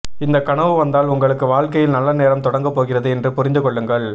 இந்த கனவு வந்தால் உங்களுக்கு வாழ்க்கையில் நல்ல நேரம் தொடங்க போகிறது என்று புரிந்து கொள்ளுங்கள்